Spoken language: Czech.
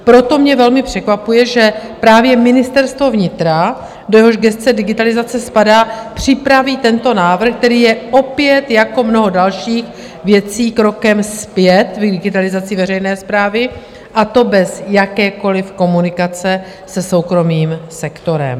Proto mě velmi překvapuje, že právě ministerstvo vnitra, do jehož gesce digitalizace spadá, připraví tento návrh, který je opět jako mnoho dalších věcí krokem zpět v digitalizaci veřejné správy, a to bez jakékoliv komunikace se soukromým sektorem.